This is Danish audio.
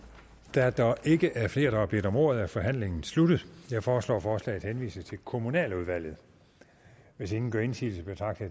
da der ikke er flere der har bedt om ordet er forhandlingen sluttet jeg foreslår at forslaget henvises til kommunaludvalget hvis ingen gør indsigelse betragter